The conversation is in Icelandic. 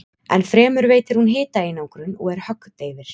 Enn fremur veitir hún hitaeinangrun og er höggdeyfir.